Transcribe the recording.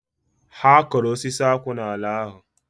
Ha koro osisi akwu n'ala ahu